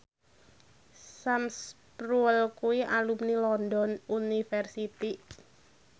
Sam Spruell kuwi alumni London University